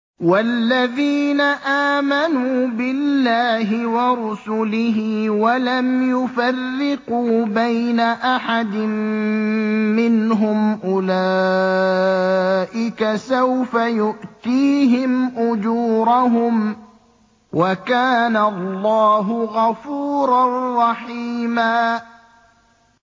وَالَّذِينَ آمَنُوا بِاللَّهِ وَرُسُلِهِ وَلَمْ يُفَرِّقُوا بَيْنَ أَحَدٍ مِّنْهُمْ أُولَٰئِكَ سَوْفَ يُؤْتِيهِمْ أُجُورَهُمْ ۗ وَكَانَ اللَّهُ غَفُورًا رَّحِيمًا